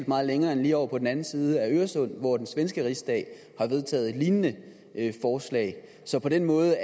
meget længere end lige ovre på den anden side af øresund hvor den svenske rigsdag har vedtaget et lignende forslag så på den måde